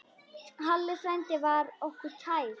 Halli frændi var okkur kær.